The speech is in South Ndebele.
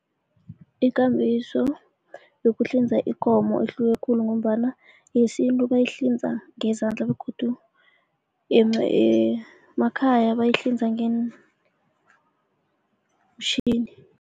Ikambiso yokuhlinza ikomo ihluke khulu ngombana yesintu bayihlinza ngezandla begodu emakhaya bayihlinza ngeemitjhini.